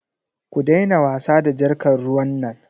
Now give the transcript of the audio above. Ku daina wasa da jarkar ruwan nan.